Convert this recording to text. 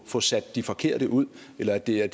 få sat de forkerte ud eller at det er